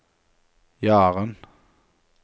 Jaren